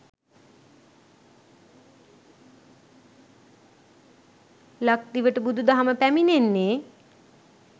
ලක්දිවට බුදු දහම පැමිණෙන්නේ